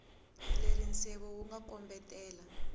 leri nseve wu nga kombetela